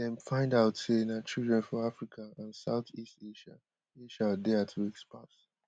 dem find out say na children for africa and south east asia asia dey at risk pass